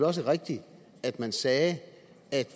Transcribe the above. også rigtigt at man sagde at